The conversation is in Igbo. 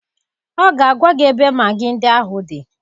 Ọ ga-agwa gị ebe magị ndị ahụ dị